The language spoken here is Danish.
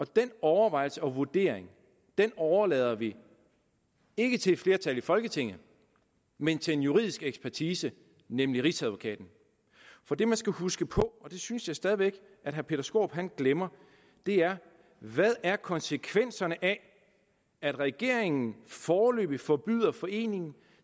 den overvejelse og vurdering overlader vi ikke til et flertal i folketinget men til en juridisk ekspertise nemlig rigsadvokaten for det man skal huske på og det synes jeg stadig væk herre peter skaarup glemmer er hvad er konsekvenserne af at regeringen foreløbig forbyder foreningen at